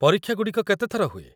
ପରୀକ୍ଷାଗୁଡ଼ିକ କେତେଥର ହୁଏ?